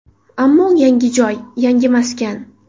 Ammo yangi joy, yangi maskan.